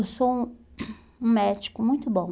Eu sou um um médico muito bom.